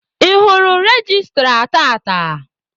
Ị hụrụ registra tata?